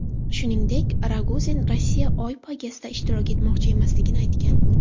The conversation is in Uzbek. Shuningdek, Rogozin Rossiya Oy poygasida ishtirok etmoqchi emasligini aytgan.